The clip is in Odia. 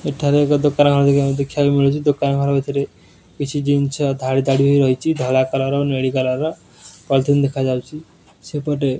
ଏଠାରେ ଏକ ଦୋକାନ ଘର ଦେଖିବାକୁ ମିଳୁଚି ଦୋକାନ ଘର ଭିତିରେ କିଛି ଜିନିଷ ଧାଡି ଧାଡି ହୋଇ ରହିଚି ଧଳା କଲର ଓ ନୀଳି କଲର ର ପଲଥିନ ଦେଖାଯାଉଚି ସେପଟେ।